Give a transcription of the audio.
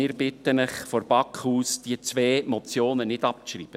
Wir bitten Sie also vonseiten der BaK, diese beiden Motionen nicht abzuschreiben.